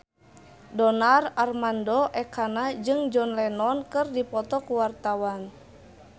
Donar Armando Ekana jeung John Lennon keur dipoto ku wartawan